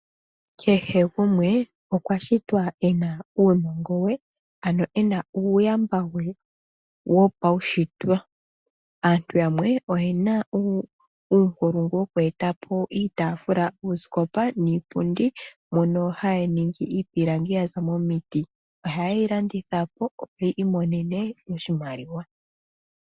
Kehe gumwe okwa shitwa e na uunongo we , ano e na uuyamba we wopaushitwe. Aantu yamwe oye na uunkulungu woku e ta po iitaafula , uusikopa niipundi mjono ha ye yi hongo miipilangi ya za momiti. Ohaye yi landitha po opo ya imonene oshimaliwa.